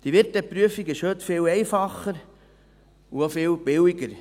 Die Wirteprüfung ist heute viel einfacher und auch viel billiger.